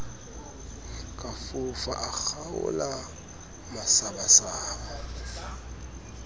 ka fofa a kgaola masabasaba